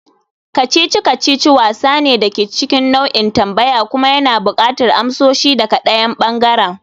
kacici-kacici wasa ne da ke cikin nau'in tambaya kuma yana buƙatar amsoshi daga ɗayan ɓangaren.